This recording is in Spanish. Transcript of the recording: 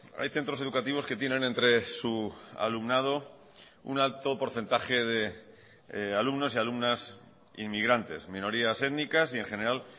hay centros educativos que tienen entre su alumnado un alto porcentaje de alumnos y alumnas inmigrantes minorías étnicas y en general